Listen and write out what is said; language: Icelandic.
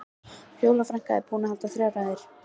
Fjóla frænka er búin að halda þrjár ræður.